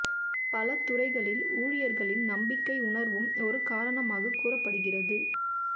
பல துறைகளில் ஊழியர்களின் நம்பிக்கை உணர்வும் ஒரு காரணமாக கூறப்படுகிறது